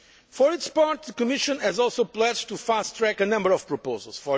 risk. For its part, the Commission has also pledged to fast track a number of proposals.